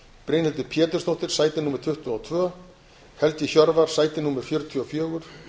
brynhildur pétursdóttir sæti tuttugu og tvö helgi hjörvar sæti fjörutíu og fjögur